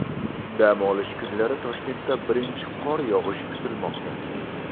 Dam olish kunlari Toshkentda birinchi qor yog‘ishi kutilmoqda.